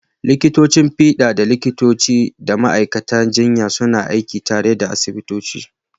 Likitocin fiɗa da likitoci da ma’aikatan jinya suna aiki tare a asibitoci.